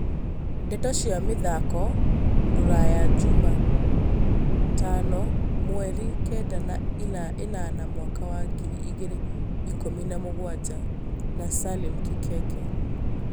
Ndeto cia mĩthako Rũraya juma Tano mweri Kenda we enana mwaka wa ngiri igĩrĩ ikumi na mũgwanja na Salim Kikeke